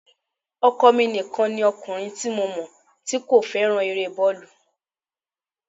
Ọkọ mi nìkan ni ọkùnrin tí mọ̀ tí kò fẹ́ràn eré bọ́ọ̀lù